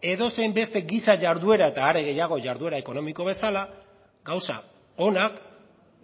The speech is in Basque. edozein beste gisa jarduera eta are gehiago jarduera ekonomiko bezala gauza onak